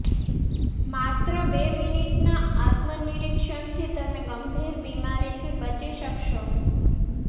માત્ર બે મિનિટના આત્મ નિરીક્ષણથી તમે ગંભીર બીમારીથી બચી શકશો